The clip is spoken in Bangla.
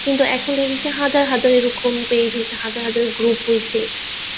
কিন্তু এখন দেখেছি হাজার হাজার এরকম page হয়েছে হাজার হাজার group হয়েছে